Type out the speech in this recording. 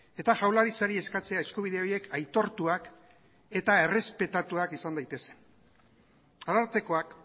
eta jaurlaritzari eskatzea eskubide horiek aitortuak eta errespetatuak izan daitezen arartekoak